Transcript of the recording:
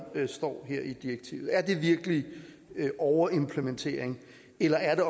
står her i direktivet er det virkelig overimplementering eller er det